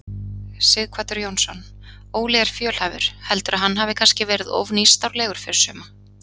Sighvatur Jónsson: Óli er fjölhæfur, heldurðu að hann hafi kannski verið of nýstárlegur fyrir suma?